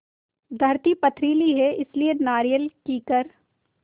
धरती पथरीली है इसलिए नारियल कीकर